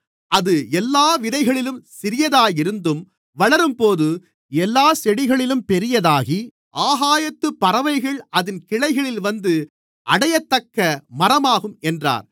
அது எல்லாவிதைகளிலும் சிறியதாயிருந்தும் வளரும்போது எல்லாச் செடிகளிலும் பெரியதாகி ஆகாயத்துப் பறவைகள் அதின் கிளைகளில் வந்து அடையத்தக்க மரமாகும் என்றார்